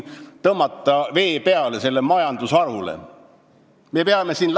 –, aga meie tahame sellele majandusharule vee peale tõmmata.